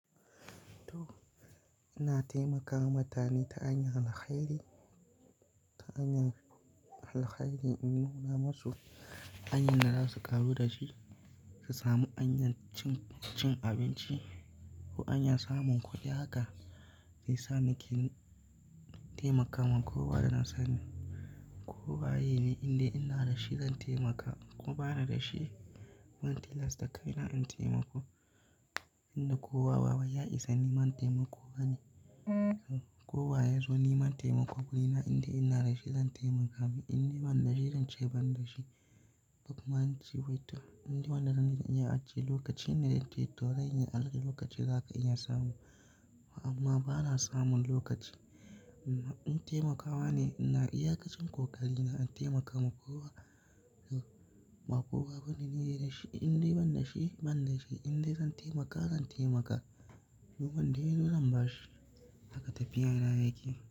To, ina taimakawa mutane ta hanyan alkairi. Ta hanyar alkhairi in nuna masu hanyar da za su ƙaru da shi, su sami hanyar cin abinci ko hanyar samun kuɗi haka. Shiyasa nake taimakawa. Kowa da nasani, kowa yake ne inda ina da shi zan taimaka. Ko bani da shi, ban tilasta kaina in taimako. Inda kowa bawai ya isa niman taimako bane. Kowa ya zo niman taimako wurina, inda ina da shi zan taimaka mi, inda ban da shi zan ce ban da shi. Duk ma an ce wita, inda wanda zan iya ajiye lokaci ne dai tsohon ya ajiye lokaci zaka iya samu. Amma bana samun lokaci. In taimakawa ne, ina iyakacin ƙoƙari na in taimakawa kowa. Ba kowa bane niyi da shi, indai ban dashi ban dashi, indai zan taimaka zan taimaka. Duk wanda ya zo zan ba shi, haka tafiya na yake.